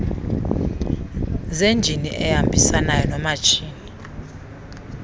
zenjini ehambisanayo noomatshini